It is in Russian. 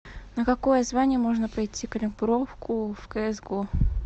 на какое звание можно пройти калибровку в кс го